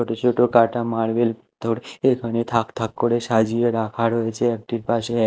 ছোট ছোট কাটা মার্বেল থোর এখানে থাক থাক করে সাজিয়ে রাখা রয়েছে একটির পাশে।